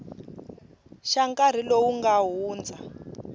xa nkarhi lowu nga hundza